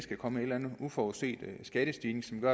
kommer uforudsete skattestigninger